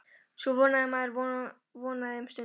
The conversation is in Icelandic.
Svo vonaði maður, vonaði um stund.